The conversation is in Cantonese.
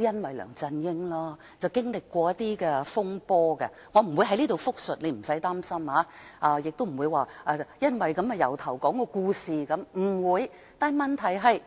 因為梁振英而經歷了一些風波，我不會在此複述，你不用擔心，我不會把故事從頭說起。